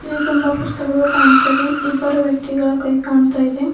ಇಲ್ಲಿ ತುಂಬಾ ಪುಸ್ತಕಗಳು ಕಾಣ್ತಾವೆ ಇಬ್ಬರು ವ್ಯಕ್ತಿಗಳ ಕೈ ಕಾಣ್ತಾ ಇದೆ.